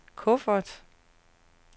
kuffert